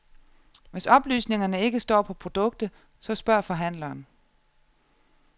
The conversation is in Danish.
Hvis oplysningerne ikke står på produktet, så spørg forhandleren.